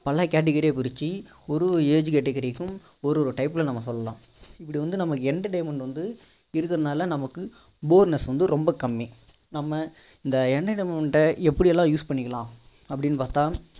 பல category யா பிரிச்சு ஒரு ஒரு age category க்கும் ஒரு ஒரு type ல நம்ம சொல்லலாம் இப்படி வந்து நமக்கு entertainment வந்து இருக்கிறதுனால நமக்கு boreness வந்து வந்து ரொம்ப கம்மி நம்ம இந்த entertainment ட எப்படி எல்லாம் use பண்ணிக்கலாம் அப்படின்னு பார்த்தா